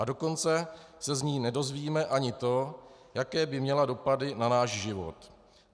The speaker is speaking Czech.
A dokonce se z ní nedozvíme ani to, jaké by měla dopady na náš život.